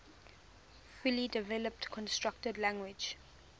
fully developed constructed language